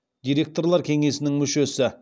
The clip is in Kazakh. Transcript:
директорлар кеңесінің мүшесі